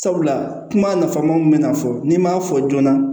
Sabula kuma nafamaw bɛna fɔ n'i m'a fɔ joona